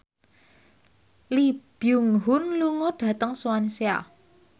Lee Byung Hun lunga dhateng Swansea